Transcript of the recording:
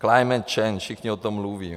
Climate change, všichni o tom mluví.